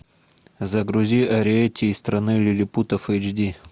загрузи ариэтти из страны лилипутов эйч ди